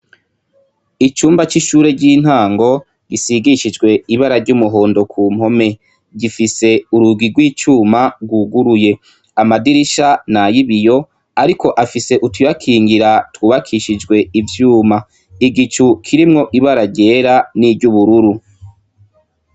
Icumba c'ishure ry'intango gisigishijwe ibara ry'umuhondo ku mpome, gifise urugi rw'icuma rwuguruye, amadirisha n'ay'ibiyo ariko afise utu yakingira twubakishijwe uvyuma, igicu kirimwo Ibara ryera n'iry'ubururu.